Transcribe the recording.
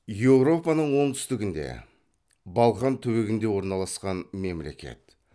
еуропаның оңтүстігінде балқан түбегінде орналасқан мемлекет